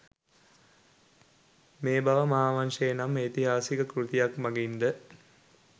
මේ බව මහාවංශය නම් ඓතිහාසික කෘතිය මගින්ද